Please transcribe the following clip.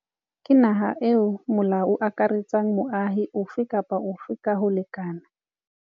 Ke naha eo molao o akaretsang moahi ofe kapa ofe ka ho lekana.